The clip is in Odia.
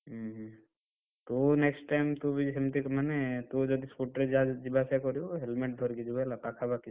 ହୁଁ ହୁଁ, ତୁ next time ତୁ ବି ସେମତି ମାନେ ତୁ ଯଦି scooty ରେ ଯିବାଆସିବା କରିବୁ helmet ଧରିକି ଯିବୁ ହେଲା ପାଖାପାଖି।